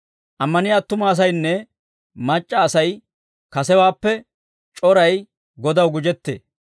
Ammaniyaa attuma asaynne mac'c'a Asay kasewaappe c'oray Godaw gujettee.